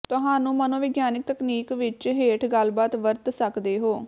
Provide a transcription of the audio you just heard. ਤੁਹਾਨੂੰ ਮਨੋਵਿਗਿਆਨਕ ਤਕਨੀਕ ਵਿੱਚ ਹੇਠ ਗੱਲਬਾਤ ਵਰਤ ਸਕਦੇ ਹੋ